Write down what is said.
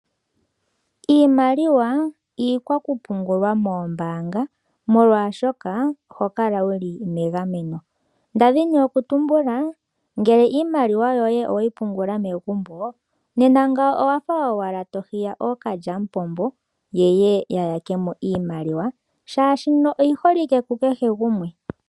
Iimaliwa, iikwakupungulwa moombaanga molwaashoka oho kala wuli megameno, nda dhini oku tumbula, ngele iimaliwa yoye oweyi pungula megumbo, nena ngawo owafa owala to hiya ookalyamupombo yeye ya yakemo iimaliwa, shaashi oyi holike ku kehe gumwe.